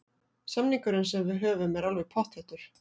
Samningurinn sem við höfum er alveg pottþéttur.